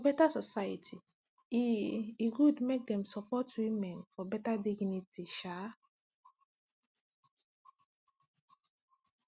for beta society e e good make dem support women for beta dignity um